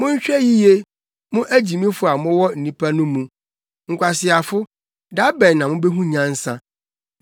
Monhwɛ yiye, mo agyimifo a mowɔ nnipa no mu; nkwaseafo, da bɛn na mubehu nyansa?